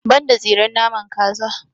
Ban da tsiren naman kaza.